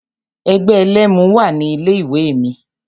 Ẹgbẹ́ ẹlẹ́mu wà ní ilé ìwé mi.